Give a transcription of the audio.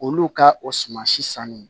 Olu ka o suman si sanni